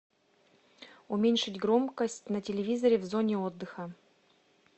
уменьшить громкость на телевизоре в зоне отдыха